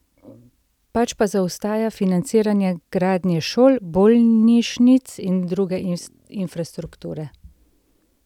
Pač pa zaostaja financiranje gradnje šol, bolnišnic in druge infrastrukture.